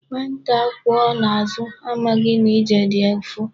Nwata a kwọ n'azụ amaghị na ije dị ụfụ.